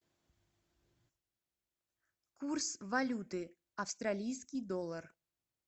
курс валюты австралийский доллар